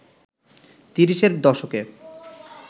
তিরিশের দশকে